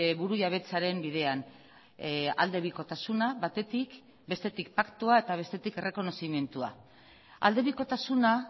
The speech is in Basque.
burujabetzaren bidean aldebikotasuna batetik bestetik paktua eta bestetik errekonozimendua aldebikotasuna